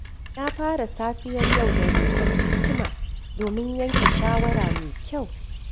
Na fara safiyar yau da roƙon hikima domin yanke shawara mai kyau.